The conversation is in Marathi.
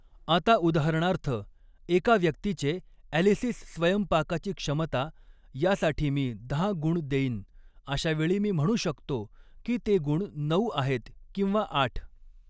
आता उदाहरणार्थ एका व्यक्तीचे ॲलिसिस स्वयंपाकाची क्षमता यासाठी मी दहा गुण देईन अशावेळी मी म्हणू शकतो की ते गुण नऊ आहेत किंवा आठ.